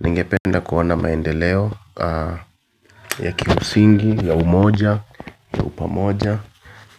Ningependa kuona maendeleo ya kimsingi, ya umoja, ya upamoja